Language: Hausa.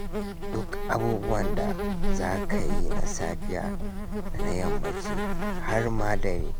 Duk abubuwan da za ka yi na safiya da na yammaci, har ma dare.